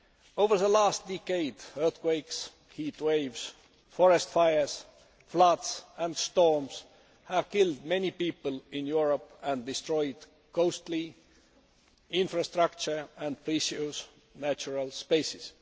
Over the last decade earthquakes, heat waves, forest fires, floods and storms have killed many people in Europe and destroyed costly infrastructure and precious natural spaces.